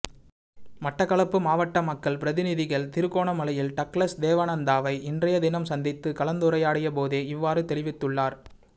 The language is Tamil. மட்டக்களப்பு மாவட்ட மக்கள் பிரதிநிதிகள் திருகோணமலையில் டக்ளஸ் தேவானந்தாவை இன்றையதினம் சந்தித்து கலந்துரையாடியபோதே இவ்வாறு தெரிவித்தள்ளார்